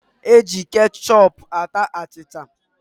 E ji kechọpu ata achịcha